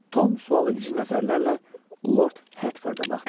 Tom sualedici nəzərlərlə Lord Hertforda baxdı.